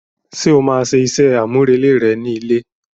Ṣe o ma máa ṣe iṣẹ amurele rẹ ni ilé?